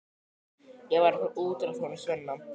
Ég var að fá útrás á honum Svenna.